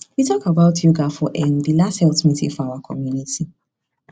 we talk about yoga for um the last health meeting for our community